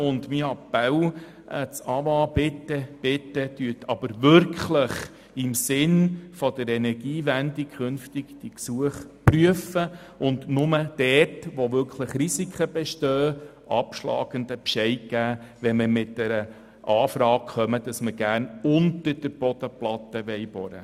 Und nun mein Appell an das AWA: Bitte, bitte prüfen Sie die Gesuche künftig wirklich im Sinn der Energiewende und geben Sie nur dann einen abschlägigen Bescheid, wenn tatsächlich auch Risiken bestehen und die Anfrage lautet, man wolle unter der Bodenplatte bohren.